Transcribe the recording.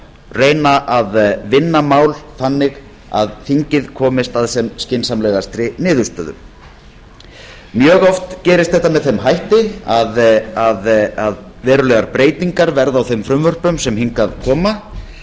reyna að vinna mál þannig að þingið komist að sem skynsamlegastri niðurstöðu mjög oft gerist þetta með þeim hætti að verulegar breytingar verða á þeim frumvörpum sem hingað koma